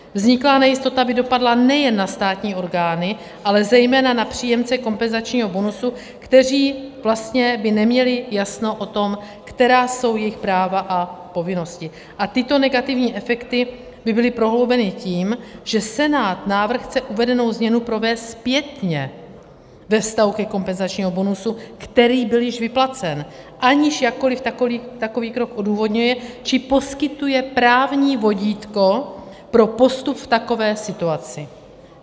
Vzniklá nejistota by dopadla nejen na státní orgány, ale zejména na příjemce kompenzačního bonusu, kteří vlastně by neměli jasno o tom, která jsou jejich práva a povinnosti, a tyto negativní efekty by byly prohloubeny tím, že senátní návrh chce uvedenou změnu provést zpětně ve vztahu ke kompenzačnímu bonusu, který byl již vyplacen, aniž jakkoli takový krok odůvodňuje či poskytuje právní vodítko pro postup v takové situaci.